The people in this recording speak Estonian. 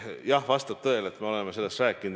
Jah, vastab tõele, et me oleme sellest rääkinud.